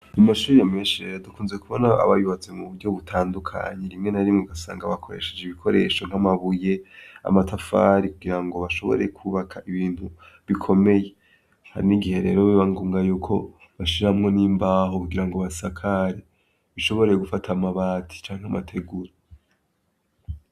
Mu mashure menshi rero dukunze kubona aba yubatse mu buryo butandukanye rimwe na rimwe ugasanga bakoresheje ibikoresho nkamabuye, amatafari kugira ngo bashobore kwubaka ibintu bikomeye, hari n'igihe rero biba ngombwa yuko bashiramwo n'imbaho kugira ngo basakare, bishobore gufata amabati canke amategura.